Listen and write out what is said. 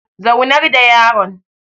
Zaunar da yaron